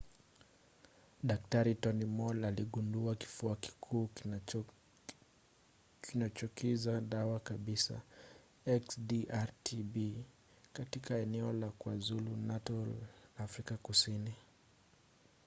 dk. tony moll aligundua kifua kikuu kinachokinza dawa kabisa xdr-tb katika eneo la kwazulu-natal afrika kusini